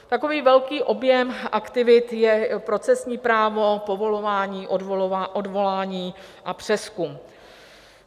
Takový velký objem aktivit je procesní právo, povolování, odvolání a přezkum.